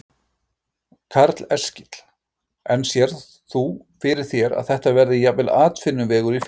Karl Eskil: En sérð þú fyrir þér að þetta verði jafnvel atvinnuvegur í firðinum?